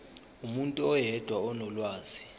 umuntu oyedwa onolwazi